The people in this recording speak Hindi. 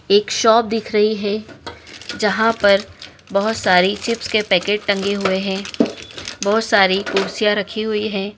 एक शॉप दिख रही है जहाँ पर बहोत सारी चिप्स के पैकेट टंगे हुए हैं बहोत सारी कुर्सियाँ रखी हुई हैं।